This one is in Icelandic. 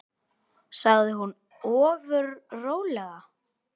sagði hún ofur rólega.